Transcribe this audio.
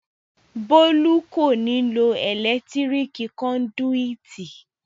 Bólú kò ní lo ẹ̀lẹ́tíríkì kọndùìtì